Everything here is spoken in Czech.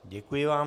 Děkuji vám.